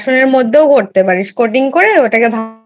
বেসনের মধ্যেও করতে পারিস Coating করে ওটাকে